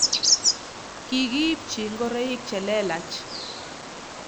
kikiipchi ngoroik che lelach